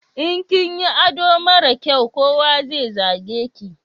In kinyi ado mara kyai, kowa zai zage ki